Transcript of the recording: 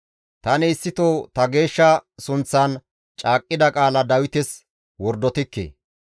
Tani issito ta geeshsha sunththan caaqqida qaala Dawites wordotikke.